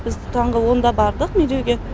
біз таңғы онда бардық медеуге